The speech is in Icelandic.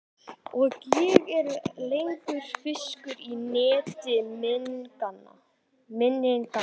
Og ég er ekki lengur fiskur í neti minninganna.